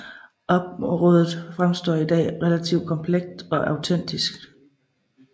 Området fremstår i dag relativt komplet og autentisk